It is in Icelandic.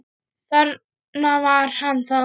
Þarna var hann þá!